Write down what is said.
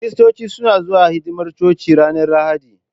Kiristoci suna zuwa hidimar coci ranar Lahadi.